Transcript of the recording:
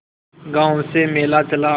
गांव से मेला चला